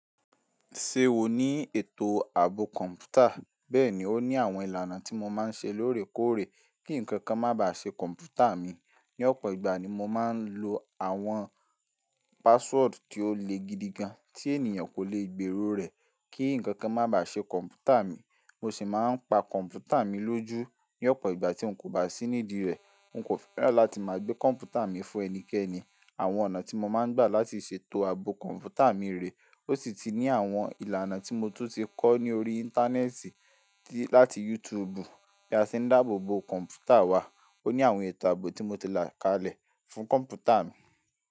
Ṣe o ni eto aabo kọmputa? Bẹẹni, o ni àwọn ìlànà ti mo máa ń ṣe lóòrèkóòrè kí ǹkan kan má bà ṣe kọ̀m̀pútà mi. Ni ọ̀pọ̀ ìgbà ni mo máa ń lo àwọn password tí ó le gidigan tí ènìyàn kò lè gbèrò rẹ̀ kí ǹkan kan má bà ṣe kọ̀m̀pútà mi. Mo sì máa ń pa kọ̀m̀pútà mi lójú ní ọ̀pọ̀ ìgbà tí n kò bá sí nídìí rẹ̀. N kò fẹ́ràn láti máa gbé kọ̀m̀pútà mi fún ẹnikẹ́ni. Àwọn ọ̀nà tí mo máa ń gbà láti ṣètò ààbò kọ̀m̀pútà mi rè ó sì ti ní àwọn ìlànà tí mo tún ti kọ́ ní orí íńtánẹ́ẹ̀tì láti YouTube. Bí a ṣe ń dáàbò kọ̀m̀pútà wa. O ní àwọn ètò ààbò tí mo ti là kalẹ̀ fún kọ̀m̀pútà mi.